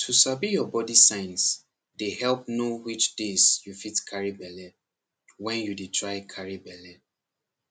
to sabi your body signs dey help know which days you fit carry belle when you dey try carry belle